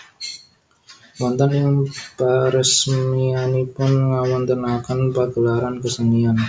Wonten ing peresmianipun ngawontenaken pagelaran kesenian